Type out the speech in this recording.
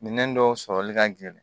Minɛn dɔw sɔrɔli ka gɛlɛn